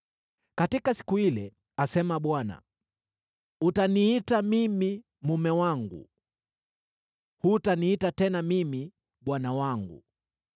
“Katika siku ile,” asema Bwana , “utaniita mimi ‘Mume wangu’; hutaniita tena mimi ‘Bwana wangu.’